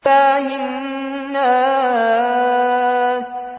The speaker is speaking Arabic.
إِلَٰهِ النَّاسِ